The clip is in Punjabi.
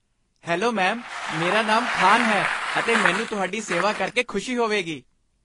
ਹੈਲੋ ਮੈਮ, ਮੇਰਾ ਨਾਮ ਖਾਨ ਹੈ ਅਤੇ ਮੈਨੂੰ ਤੁਹਾਡੀ ਸੇਵਾ ਕਰਕੇ ਖੁਸ਼ੀ ਹੋਵੇਗੀ ।